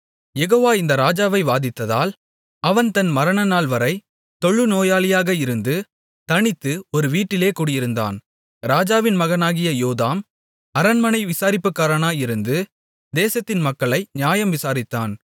யெகோவா இந்த ராஜாவை வாதித்ததால் அவன் தன் மரணநாள்வரை தொழுநோயாளியாக இருந்து தனித்து ஒரு வீட்டிலே குடியிருந்தான் ராஜாவின் மகனாகிய யோதாம் அரண்மனை விசாரிப்புக்காரனாயிருந்து தேசத்தின் மக்களை நியாயம் விசாரித்தான்